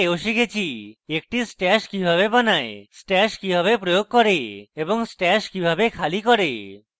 আমরা we শিখেছি